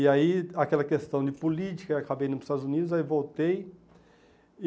E aí, aquela questão de política, acabei indo para os Estados Unidos, aí voltei.